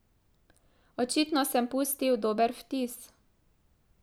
Očitno sem pustil dober vtis.